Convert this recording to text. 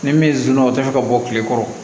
Ni min zonna o tɛ ka bɔ kile kɔrɔ